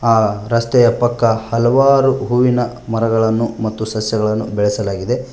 ಆ ರಸ್ತೆಯ ಪಕ್ಕ ಹಲವಾರು ಹೂವಿನ ಮರಗಳನ್ನು ಮತ್ತು ಸಸ್ಯಗಳನ್ನು ಬೆಳೆಸಲಾಗಿದೆ.